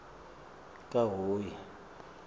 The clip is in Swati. kahhoyi